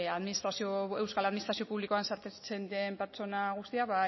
euskal administrazio publikoan sartzen diren pertsona guztiak